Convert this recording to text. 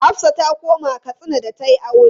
Hafsah ta koma Katsina da ta yi aure.